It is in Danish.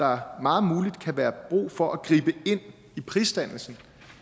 er meget muligt at der kan være brug for at gribe ind i prisdannelsen